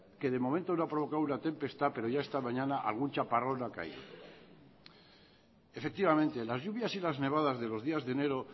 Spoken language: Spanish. que de momento no ha provocado una tempestad pero ya esta mañana algún chaparrón ha caído efectivamente las lluvias y las nevadas de los días de enero